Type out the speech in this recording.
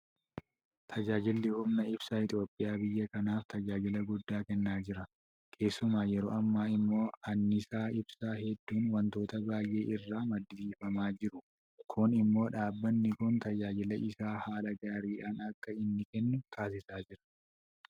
Tajaajilli humna ibsaa Itoophiyaa biyya kanaaf tajaajila guddaa kennaa jira. Keessumaa yeroo ammaa immoo anniisaa ibsaa hedduun waantota baay'ee irraa maddisiifamaa jiru. Kun immoo dhaabbanni kun tajaajila isaa haala gaariidhaan akka inni kennu taasisaa jira.